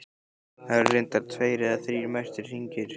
Það eru reyndar tveir eða þrír merktir hringir.